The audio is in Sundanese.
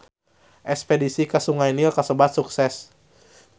Espedisi ka Sungai Nil kasebat sukses